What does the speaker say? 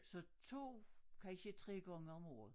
Så 2 kansje 3 gange om året